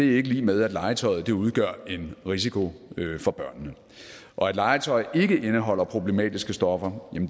ikke lig med at legetøjet udgør en risiko for børnene og at legetøj ikke indeholder problematiske stoffer